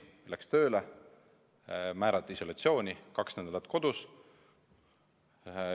Ta läks tööle, määrati isolatsiooni, oli kaks nädalat kodus.